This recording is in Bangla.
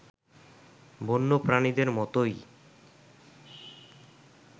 বন্যপ্রাণীদের মতোই